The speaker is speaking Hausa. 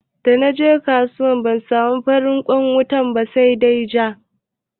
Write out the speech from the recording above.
Da naje kasuwa ban samu farin kwan wuta ba sa dai ja.